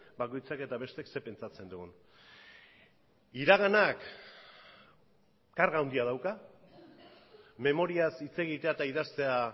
bakoitzak eta besteek zer pentsatzen dugun iraganak karga handia dauka memoriaz hitz egitea eta idaztea